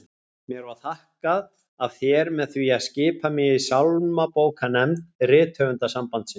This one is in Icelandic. Mér var þakkað af þér með því að skipa mig í sálmabókarnefnd Rithöfundasambandsins!